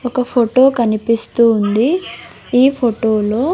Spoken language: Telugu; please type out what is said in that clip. ఒక ఫోటో కనిపిస్తూ ఉంది ఈ ఫోటో లో --